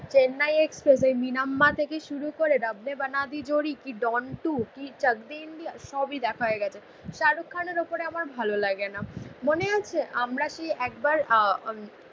Chennai Express এই মিনাম্মা থেকে শুরু করে রাব নে বানা দি জোড়ি কি ডন টু, কি চাক দে ইন্ডিয়া সব ই দেখা হয়ে গেছে. শাহরুখ খানের ওপরে আমার ভালো লাগে না. মনে আছে আমরা কি একবার আহ